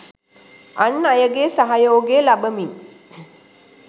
අන් අයගේ සහයෝගය ලබමින්